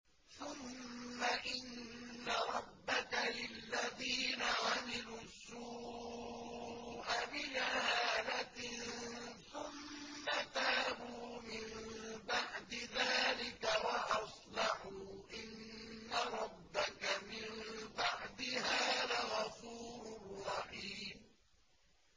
ثُمَّ إِنَّ رَبَّكَ لِلَّذِينَ عَمِلُوا السُّوءَ بِجَهَالَةٍ ثُمَّ تَابُوا مِن بَعْدِ ذَٰلِكَ وَأَصْلَحُوا إِنَّ رَبَّكَ مِن بَعْدِهَا لَغَفُورٌ رَّحِيمٌ